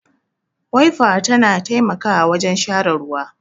Waifa ta na taimakawa wajen share ruwa